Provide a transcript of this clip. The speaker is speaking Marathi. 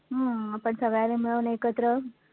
हम्म आपण सगळ्यांनी मिळून एकत्र